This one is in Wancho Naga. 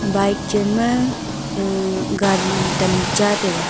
bike chenma uh gari tamcha taiga.